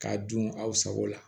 K'a dun aw sago la